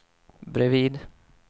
bredvid